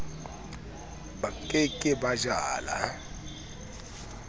ba ke ke ba jala